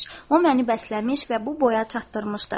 O məni bəsləmiş və bu boya çatdırmışdı.